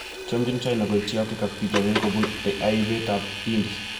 Chamjin China koityi Afrika ak bitonin kobun aibetab Hindi.